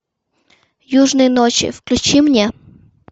южные ночи включи мне